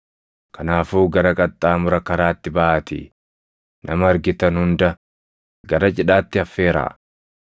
Kanaafuu gara qaxxaamura karaatti baʼaatii nama argitan hunda gara cidhaatti affeeraa.’